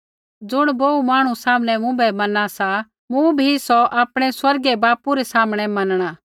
ज़ुण बोहू मांहणु सामनै मुँभै मैना सा तेइबै मूँ बी सौ आपणै स्वर्गीय बापू रै सामनै मनणा